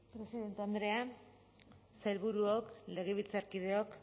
presidente andrea sailburuok legebiltzarkideok